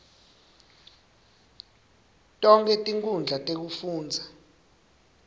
tonkhe tinkhundla tekufundza